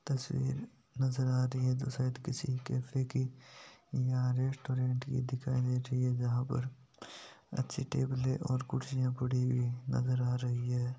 तस्वीर नजर आ रही है सायद किसी कैफे की यहाँ रेस्टोरेंट दिखाई दे रही है जहा पर अच्छी टेबल और कुर्सिया पड़ी है नजर आ रही है।